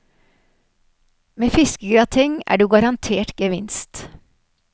Med fiskegrateng er du garantert gevinst.